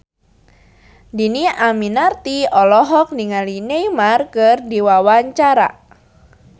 Dhini Aminarti olohok ningali Neymar keur diwawancara